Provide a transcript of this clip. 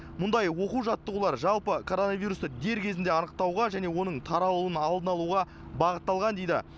мұндай оқу жаттығулар жалпы коронавирусты дер кезінде анықтауға және оның таралуының алдын алуға бағытталған дейді